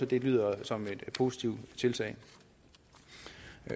det lyder som et positivt tiltag